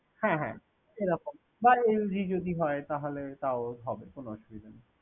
হ্যাঁ হ্যাঁ এরকম বা LED যদি হয় তাহলে তাও হবে কোন অসুবিধা নেই।